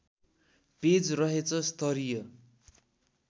page रहेछ स्तरीय